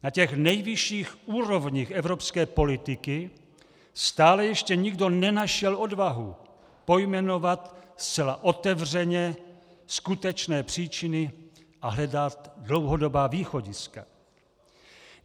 Na těch nejvyšších úrovních evropské politiky stále ještě nikdo nenašel odvahu pojmenovat zcela otevřeně skutečné příčiny a hledat dlouhodobá východiska.